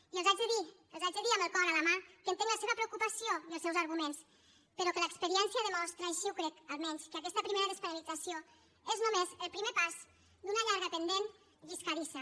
i els haig de dir els haig de dir amb el cor a la mà que entenc la seva preocupació i els seus arguments però que l’experiència demostra així ho crec almenys que aquesta primera despenalització és només el primer pas d’una llarga pendent lliscadissa